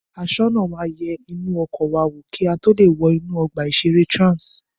Aṣọ́nà máa yẹ inú ọkọ̀ wa wò kí a tó lè wọ inú ọgbà ìṣeré Trans